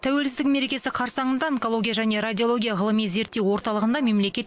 тәуелсіздік мерекесі қарсаңында онкология және радиология ғылыми зерттеу орталығында мемлекет